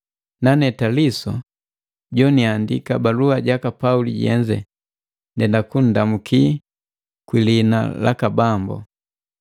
Nane Taliso, joniandika balua jaka Pauli jenze ndenda kunndamuki kwi liina laka Bambo.